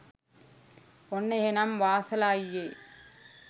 ඔන්න එහෙනම් වාසල අයියේ